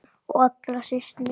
Og allra síst minn.